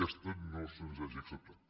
aquesta no se’ns hagi acceptat